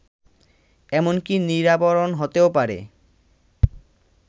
এমনকি নিরাবরণ হতেও পারে